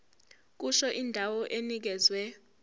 kusho indawo enikezwe